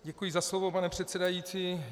Děkuji za slovo, pane předsedající.